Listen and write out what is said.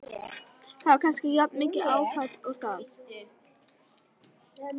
Þetta var kannski jafnmikið áfall og það.